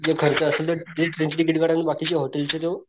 जे खर्च असेल जे ट्रेन चे तिकीट काढून बाकीचे होतील जो